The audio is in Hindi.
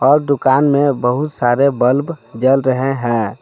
और दुकान में बहुत सारे बल्ब जल रहे हैं।